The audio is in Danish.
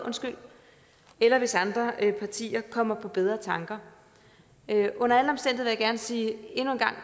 eller hvis andre partier kommer på bedre tanker under alle omstændigheder gerne sige